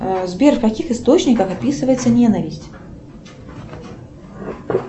сбер в каких источниках описывается ненависть